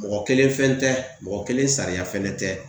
Mɔgɔ kelen fɛn tɛ, mɔgɔ kelen sariya fɛnɛ tɛ.